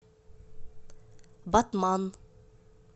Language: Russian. батман